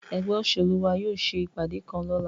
Egbe oselu wa yóò se ipade kan lọla